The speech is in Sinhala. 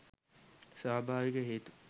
ස්වභාවික හේතු